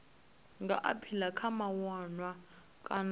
nga aphila kha mawanwa kana